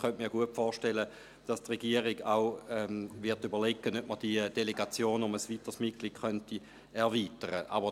Ich könnte mir gut vorstellen, dass sich die Regierung auch überlegen wird, die Delegation um ein weiteres Mitglied zu erweitern.